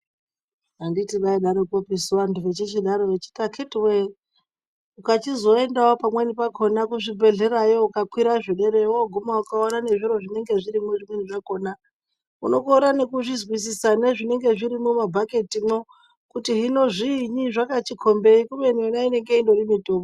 Handiti vaidarokopisu vantu vechichidaro vechiti akitiwee ukachizoendawo pamweni pakona kuzvibhehlerayo ukakwira zvederayo wooguma ukaona nezviro zvinenge zvirimwo, zvimweni zvakona unokorere nekuzvizwisisa, nezvinenge zvirimwo mumabhaketimwo kuti hino zviinyi, zvakachikombei, kubeni yona inonga itori mitombo..